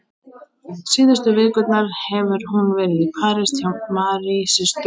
Síðustu vikurnar hefur hún verið í París hjá Mary systur og